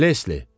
Lesli.